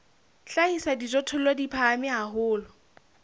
hlahisa dijothollo di phahame haholo